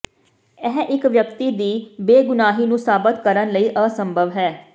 ਇਹ ਇੱਕ ਵਿਅਕਤੀ ਦੀ ਬੇਗੁਨਾਹੀ ਨੂੰ ਸਾਬਤ ਕਰਨ ਲਈ ਅਸੰਭਵ ਹੈ